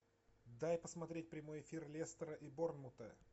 дай посмотреть прямой эфир лестера и борнмута